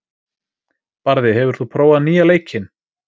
Barði, hefur þú prófað nýja leikinn?